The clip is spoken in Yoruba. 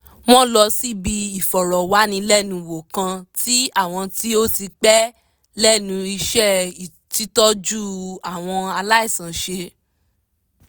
wọ́n lọ síbi ìfọ̀rọ̀wánilẹ́nuwò kan tí àwọn tí ó ti pẹ́ lẹ́nu iṣẹ́ títọ́jú àwọn aláìsàn ṣe